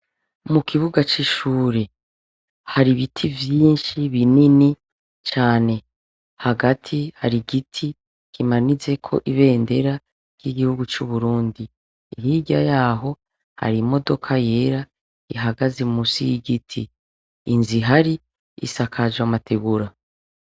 Mu kibuga c'ishure hari ibiti vyinshi binini cane, hagati hari igiti kimanitseko ibendera ry'igihugu c'uburundi. Hirya yaho hari imodoka yera ihagaze munsi y'igiti. Inzu ihari isakaje amategura.